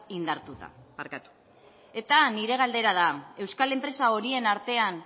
indartuta eta nire galdera da euskal enpresa horien artean